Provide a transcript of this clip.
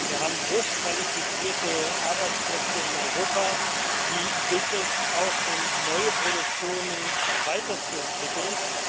Wir haben hochqualifizierte Arbeitsplätze in Europa. Die gilt es auch in neue Produktionen weiterzuentwickeln.